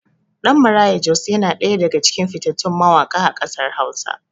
Ɗan Maraya Jos yana ɗaya daga cikin fitattun mawaƙa a ƙasar hausa.